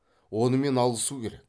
онымен алысу керек